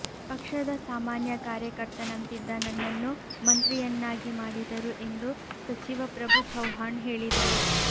ಪಕ್ಷದ ಸಾಮಾನ್ಯ ಕಾರ್ಯಕರ್ತನಂತಿದ್ದ ನನ್ನನ್ನು ಮಂತ್ರಿಯನ್ನಾಗಿ ಮಾಡಿದರು ಎಂದು ಸಚಿವ ಪ್ರಭು ಚೌಹಾಣ್ ಹೇಳಿದರು